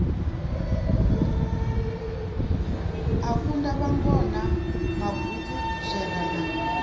a kunda vhangona maguvhutswera na